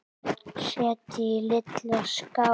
Setjið í litla skál.